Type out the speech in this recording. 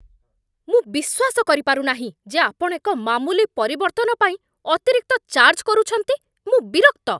ମୁଁ ବିଶ୍ୱାସ କରିପାରୁ ନାହିଁ ଯେ ଆପଣ ଏକ ମାମୁଲି ପରିବର୍ତ୍ତନ ପାଇଁ ଅତିରିକ୍ତ ଚାର୍ଜ କରୁଛନ୍ତି। ମୁଁ ବିରକ୍ତ।